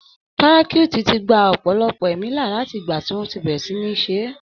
Parachutes ti gba ọ̀pọ̀lọpọ̀ ẹ̀mí là láti ìgbà tí wọ́n ti bẹ̀rẹ̀ sí níí ṣeé.